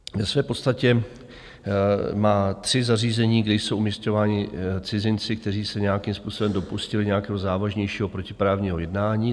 Ve své podstatě má tři zařízení, kde jsou umisťováni cizinci, kteří se nějakým způsobem dopustili nějakého závažnějšího protiprávního jednání.